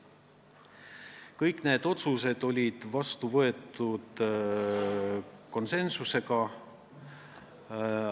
Kõik need otsused võeti vastu konsensusega.